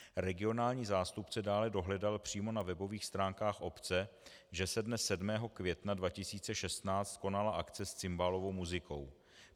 Regionální zástupce dále dohledal přímo na webových stránkách obce, že se dne 7. května 2016 konala akce s cimbálovou muzikou.